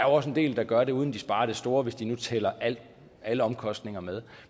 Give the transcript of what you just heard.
også en del der gør det uden at de sparer det store hvis nu de tæller alle omkostninger med